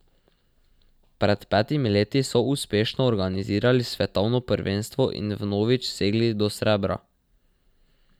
Pred petimi leti so uspešno organizirali svetovno prvenstvo in vnovič segli do srebra.